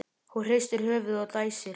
Hún hristir höfuðið og dæsir.